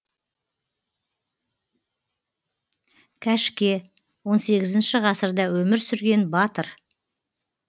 кәшке он сегізінші ғасырда өмір сүрген батыр